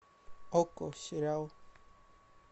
окко сериал